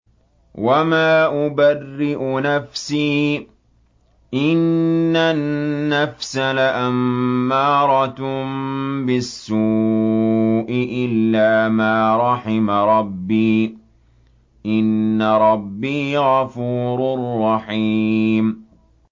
۞ وَمَا أُبَرِّئُ نَفْسِي ۚ إِنَّ النَّفْسَ لَأَمَّارَةٌ بِالسُّوءِ إِلَّا مَا رَحِمَ رَبِّي ۚ إِنَّ رَبِّي غَفُورٌ رَّحِيمٌ